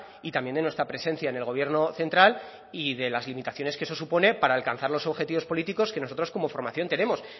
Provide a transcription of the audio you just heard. y también de nuestra presencia en el gobierno central y de las limitaciones que eso supone para alcanzar los objetivos políticos que nosotros como formación tenemos